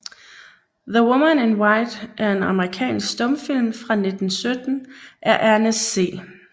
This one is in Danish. The Woman in White er en amerikansk stumfilm fra 1917 af Ernest C